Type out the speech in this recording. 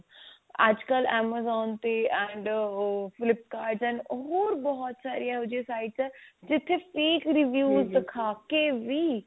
ਅੱਜਕਲ amazon ਤੇ and ਹੋਰ flipkart and ਹੋਰ ਬਹੁਤ ਸਾਰੀਆਂ sites ਨੇ ਜਿੱਥੇ free ਖਰੀਦੀ ਦਿਖਾ ਕੇ ਵੀ